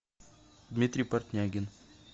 дмитрий портнягин